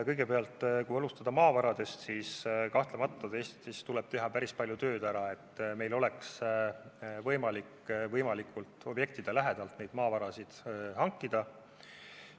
Kõigepealt, kui alustada maavaradest, siis kahtlemata tuleb teha päris palju tööd, et meil oleks võimalik objektidele võimalikult lähedalt maavarasid hankida.